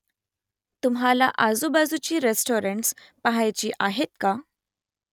तुम्हाला आजूबाजूची रेस्टॉरंट्स पहायची आहेत का ?